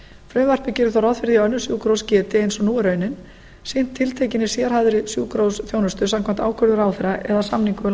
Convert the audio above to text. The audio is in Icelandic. frumvarpið gerir þó ráð fyrir því að önnur sjúkrahús geti eins og nú er raunin sinnt tiltekinni sérhæfðri sjúkrahúsþjónustu samkvæmt ákvörðun ráðherra eða samningum við